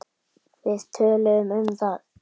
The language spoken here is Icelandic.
Við töluðum um það.